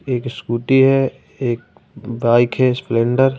एक स्कूटी है एक बाइक है स्प्लेंडर --